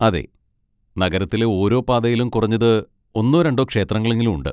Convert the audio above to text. അതെ. നഗരത്തിലെ ഓരോ പാതയിലും കുറഞ്ഞത് ഒന്നോ രണ്ടോ ക്ഷേത്രങ്ങളെങ്കിലും ഉണ്ട്.